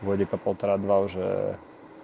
годика полтора-два уже